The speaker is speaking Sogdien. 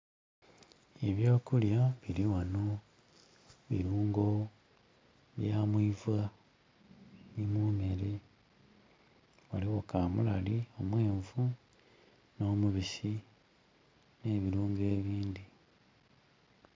Eby'okulya birighano birungo bya mwiva ni mu mere, ghaligho kamulali omwenvu no mubisi ne birungo ebindhi.